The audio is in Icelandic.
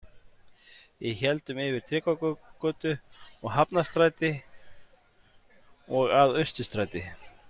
Við héldum yfir Tryggvagötu og Hafnarstræti og að Austurstræti.